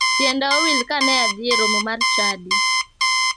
Tienda owil ka ne adhie e romo mar chadi.